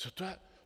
Co to je?